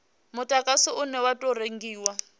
mudagasi une wa tou rengiwa